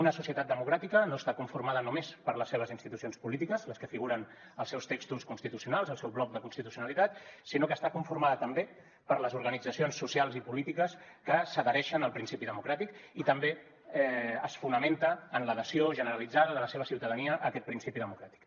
una societat democràtica no està conformada només per les seves institucions polítiques les que figuren als seus textos constitucionals al seu bloc de constitucionalitat sinó que està conformada també per les organitzacions socials i polítiques que s’adhereixen al principi democràtic i també es fonamenta en l’adhesió generalitzada de la seva ciutadania a aquest principi democràtic